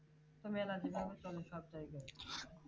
তো মেলা যেভাবে চলে সপ্তাহে